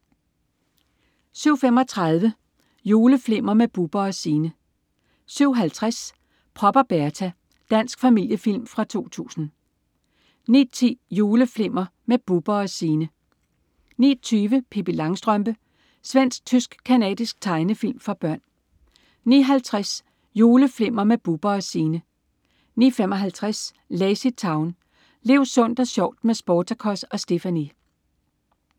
07.35 Juleflimmer med Bubber & Signe 07.50 Prop og Berta. Dansk familiefilm fra 2000 09.10 Juleflimmer med Bubber & Signe 09.20 Pippi Langstrømpe. Svensk-tysk-canadisk tegnefilm for børn 09.50 Juleflimmer med Bubber & Signe 09.55 LazyTown. Lev sundt og sjovt med Sportacus og Stephanie!